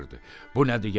Bu nədir yenə?